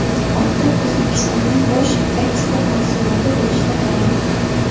Oltin O‘zbekistonning bosh eksport mahsuloti bo‘lishda davom etmoqda.